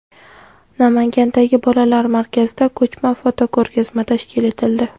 Namangandagi bolalar markazida ko‘chma fotoko‘rgazma tashkil etildi.